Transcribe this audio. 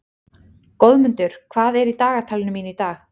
Goðmundur, hvað er í dagatalinu mínu í dag?